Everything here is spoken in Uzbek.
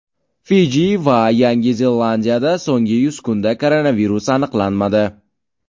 Fiji va Yangi Zelandiyada so‘nggi yuz kunda koronavirus aniqlanmadi.